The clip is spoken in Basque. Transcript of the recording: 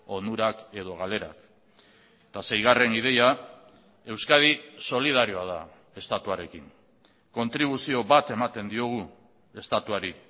onurak edo galerak eta seigarren ideia euskadi solidarioa da estatuarekin kontribuzio bat ematen diogu estatuari